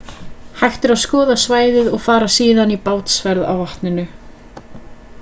hægt er að skoða svæðið og fara síðan í bátsferð á vatninu